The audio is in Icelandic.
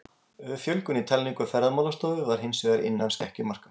Fjölgun í talningu Ferðamálastofu var hins vegar innan skekkjumarka.